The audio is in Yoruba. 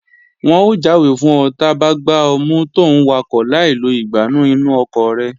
Wọn ó jáwé fún ọ ta bá gbá ọ mú tòún wakọ̀ láì lo ìgbánú inú ọkọ̀ rẹ